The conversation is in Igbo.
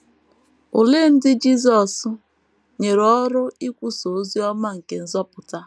Olee ndị Jisọs nyere ọrụ ikwusa ozi ọma nke nzọpụta?